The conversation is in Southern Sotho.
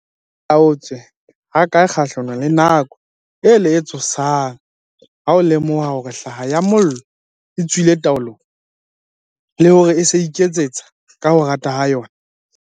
O malala-a-laotswe hakae kgahlanong le nako ela e tshosang ha o lemoha hore hlaha ya mollo e tswile taolong, le hore e se e iketseta ka ho rata ha yona?